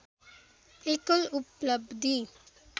एकल उपलब्धि